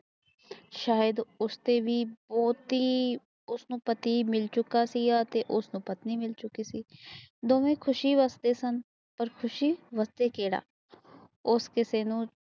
ਸ਼ਾਇਦ ਉਸਤੋਂ ਵੀ ਬਹੁਤ ਉਸਨੂੰ ਪਤੀ ਮਿਲ ਚੁੱਕਿਆ ਸੀ ਤੇ ਉਸਨੂੰ ਪਤਨੀ ਮਿਲ ਚੁਕੀ ਸੀ ਦੋਵੇ ਖੁਸ਼ ਵਸਦੇ ਸਨ ਪਰ ਖੁਸ਼ੀ ਵਰਤੇ ਕੇੜਾ ਉਸ ਕਿਸੇ ਨੂੰ